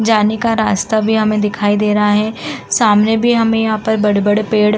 जाने का रास्ता भी हमें दिखाई दे रहा है। सामने भी हमें यहां पर बड़े-बड़े पेड़ --